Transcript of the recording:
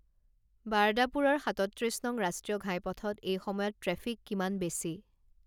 বাৰ্দাপুৰৰ সাতত্ৰিছ নং ৰাষ্ট্ৰীয় ঘাইপথত এই সময়ত ট্ৰেফিক কিমান বেছি